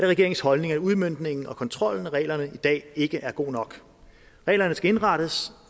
regeringens holdning at udmøntningen og kontrollen med reglerne i dag ikke er god nok reglerne skal indrettes